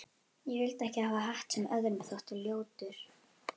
Ég vildi ekki hafa hatt sem öðrum þótti ljótur.